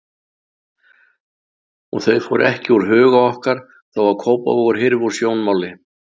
Og þau fóru ekki úr huga okkar þó að Kópavogur hyrfi úr sjónmáli.